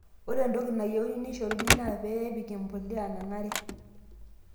ore entoki nayieuni nishoruno naa pee ipik embuliya nanare